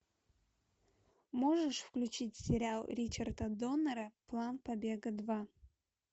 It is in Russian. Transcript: можешь включить сериал ричарда доннера план побега два